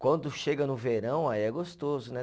Quando chega no verão, aí é gostoso, né?